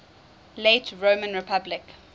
late roman republic